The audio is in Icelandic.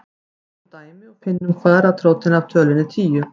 Tökum dæmi og finnum kvaðratrótina af tölunni tíu.